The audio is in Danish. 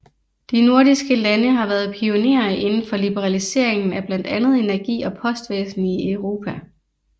De nordiske lande har været pionerer inden for liberaliseringen af blandt andet energi og postvæsen i Europa